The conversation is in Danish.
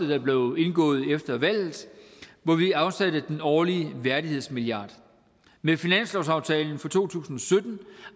der blev indgået efter valget hvor vi afsatte den årlige værdighedsmilliard med finanslovsaftalen for to tusind